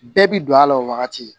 Bɛɛ bi don a la o wagati